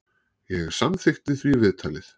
Ég samþykkti því viðtalið.